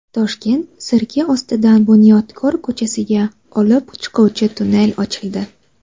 Toshkent sirki ostidan Bunyodkor ko‘chasiga olib chiquvchi tunnel ochildi.